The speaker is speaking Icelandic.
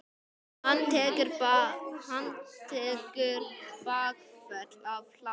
Hann tekur bakföll af hlátri.